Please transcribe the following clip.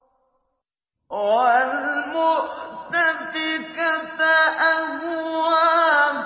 وَالْمُؤْتَفِكَةَ أَهْوَىٰ